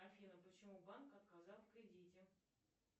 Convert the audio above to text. афина почему банк отказал в кредите